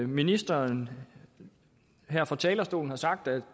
ministeren her fra talerstolen har sagt at